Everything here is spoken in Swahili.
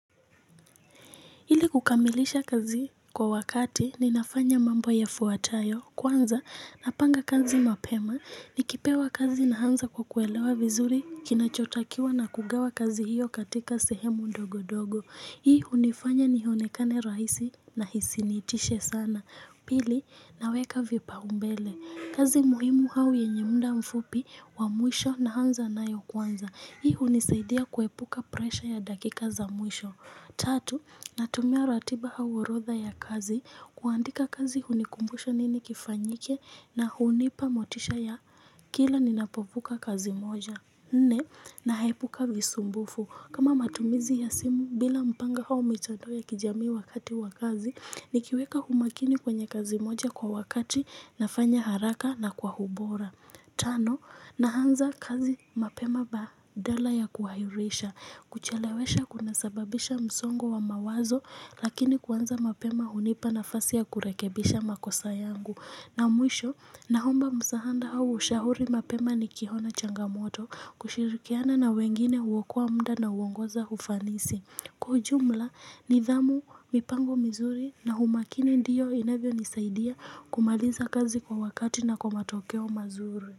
Ili kukamilisha kazi kwa wakati, ninafanya mambo yafuatayo, kwanza, napanga kazi mapema, nikipewa kazi naanza kwa kuelewa vizuri, kinachotakiwa na kugawa kazi hiyo katika sehemu ndogo-dogo. Hii unifanya nihonekane rahisi na hisi nitishe sana. Pili, naweka vipaumbele. Kazi muhimu au yenye munda mfupi wa muisho na hanza na yu kwanza. Hii unisaidia kuepuka presha ya dakika za muisho. Tatu, natumia ratiba au orodha ya kazi kuandika kazi hunikumbusha nini kifanyike na hunipa motisha ya kila ninapovuka kazi moja. Nne, nahepuka visumbufu. Kama matumizi ya simu bila mpanga au mitadoe kijami wakati wakazi, nikiweka humakini kwenye kazi moja kwa wakati nafanya haraka na kwa hubora. Tano, nahanza kazi mapema badala ya kuahirisha. Kuchelewesha kunasababisha msongo wa mawazo lakini kuanza mapema hunipa nafasi ya kurekebisha makosa yangu. Na mwisho, naomba msahanda au ushahuri mapema ni kihona changamoto kushirikiana na wengine huokoa mda na uwongoza ufanisi. Kwa ujumla nidhamu mipango mzuri na humakini ndiyo inavyo nisaidia kumaliza kazi kwa wakati na kwa matokeo mazuri.